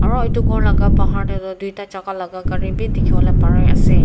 aru etu ghor laga pahar teh tu dui ta jaga laga gari bhi dikhibole pare ase.